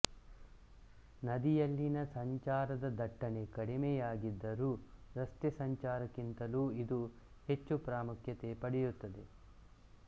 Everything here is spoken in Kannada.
ನದಿಯಲ್ಲಿನ ಸಂಚಾರದ ದಟ್ಟಣೆ ಕಡಿಮೆಯಾಗಿದ್ದರೂ ರಸ್ತೆ ಸಂಚಾರಕ್ಕಿಂತಲೂ ಇದು ಹೆಚ್ಚು ಪ್ರಾಮುಖ್ಯತೆ ಪಡೆಯುತ್ತದೆ